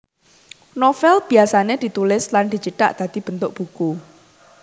Novèl biyasané ditulis lan dicithak dadi bentuk buku